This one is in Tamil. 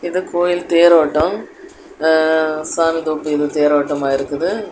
இது கோயில் தேரோட்டோ சாமி கும்பிட்டு ஏதோ தேரோட்டமா இருக்குது.